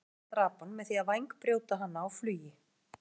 Gæsina drap hann með því að vængbrjóta hana á flugi.